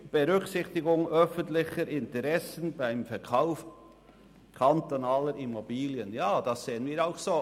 «Berücksichtigung öffentlicher Interessen beim Verkauf kantonaler Immobilien» – das sehen wir auch so.